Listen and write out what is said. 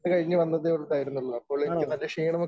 ഇത് കഴിഞ്ഞു വന്നതേ ഉണ്ടായിരുന്നുള്ളൂ അപ്പോൾ എനിക്ക് നല്ല ക്ഷീണമൊക്കെ